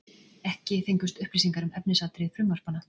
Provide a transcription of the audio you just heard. Ekki fengust upplýsingar um efnisatriði frumvarpanna